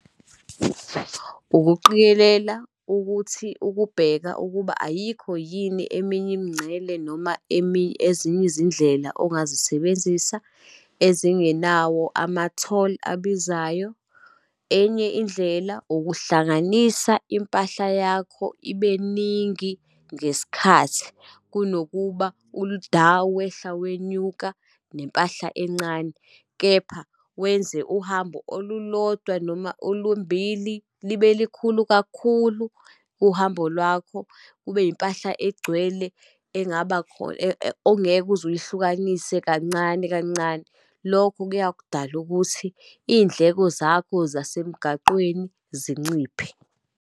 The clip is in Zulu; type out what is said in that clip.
Ukuqikelela ukuthi ukubheka ukuba ayikho yini eminye imingcele, noma ezinye izindlela ongazisebenzisa ezingenawo ama-toll abizayo. Enye indlela, ukuhlanganisa impahla yakho ibeningi ngesikhathi kunokuba ul'da wehla wenyuka nempahla encane. Kepha wenze uhambo olulodwa, noma olumbili libe likhulu kakhulu uhambo lwakho, kube impahla egcwele engaba ongeke uze uyihlukanise kancane, kancane. Lokho kuya kudala ukuthi iy'ndleko zakho zasemgaqweni zinciphe.